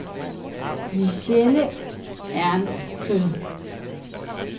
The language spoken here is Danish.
Michele Ernstsen